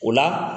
O la